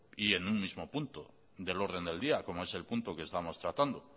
y en un mismo punto del orden del día como es el punto que estamos tratando